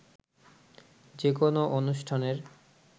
যে কোনো অনুষ্ঠানের